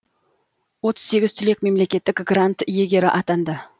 отыз сегіз түлек мемлекеттік грант иегері атанды